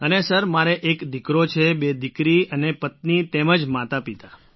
અને સર મારે એક દીકરો છે બે દીકરી અને પત્ની તેમજ માતાપિતા